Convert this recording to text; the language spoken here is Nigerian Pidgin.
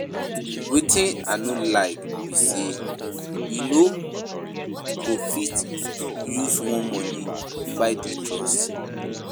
Wetin I no like be say you go fit use money buy their trust